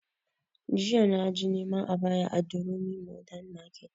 Jiya na je neman ayaba a durumi modern market